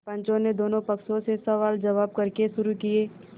पंचों ने दोनों पक्षों से सवालजवाब करने शुरू किये